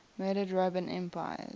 murdered roman emperors